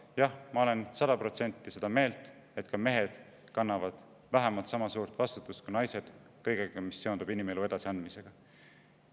Jah, ma olen sada protsenti seda meelt, et ka mehed kannavad vähemalt sama suurt vastutust kui naised kõiges, mis seondub inimelu edasiandmisega.